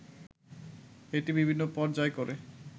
এটি বিভিন্ন পর্যায় করে